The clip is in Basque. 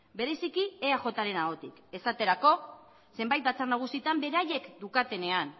bereziki eajren ahotik esaterako zenbait batzar nagusietan beraiek daukatenean